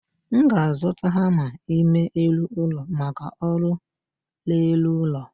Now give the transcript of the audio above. M ga-azụta hama ime elụ ụlọ maka ọrụ r'elu ụlọ